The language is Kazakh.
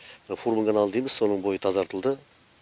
мына фурманов каналы дейміз соның бойы тазартылды